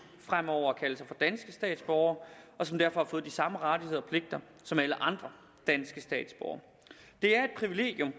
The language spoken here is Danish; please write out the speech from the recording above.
fremover at kalde sig for danske statsborgere og som derfor har fået de samme rettigheder og pligter som alle andre danske statsborgere det er et privilegium